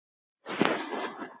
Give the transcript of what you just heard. Hvernig var þinn fyrsti bíll?